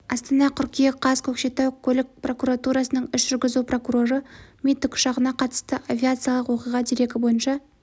астана қыркүйек қаз көкшетау көлік прокуратурасының іс жүргізу прокуроры ми тікұшағына қатысты авиациялық оқиға дерегі бойынша